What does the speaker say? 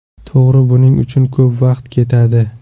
To‘g‘ri, buning uchun ko‘p vaqt ketadi.